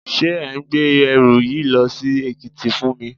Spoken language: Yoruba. Ṣé ẹ̀ ń gbé ẹrù yìí lọ sí Èkìtì fún mi?